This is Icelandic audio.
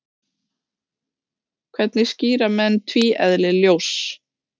hvernig skýra menn tvíeðli ljóss